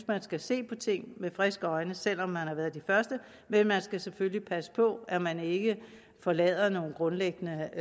man skal se på ting med friske øjne selv om man har været de første men man skal selvfølgelig passe på at man ikke forlader nogle grundlæggende